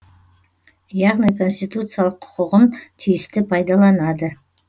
яғни конституциялық құқығын тиісті пайдаланады